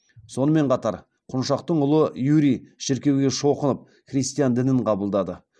сонымен қатар құншақтың ұлы юрий шіркеуге шоқынып христиан дінін қабылдады